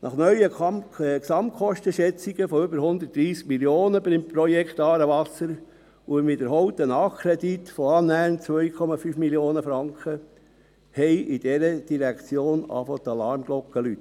Nach neuen Gesamtkostenschätzungen von über 130 Mio. Franken beim Projekt «Aarewasser» und dem wiederholten Nachkredit von annähernd 2,5 Mio. Franken begannen in der Direktion die Alarmglocken zu läuten.